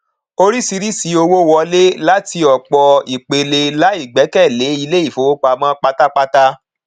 oríṣìíríṣìí owó wọlé láti òpọ ìpele láì gbẹkẹlé ilé ìfowópamọ pátápátá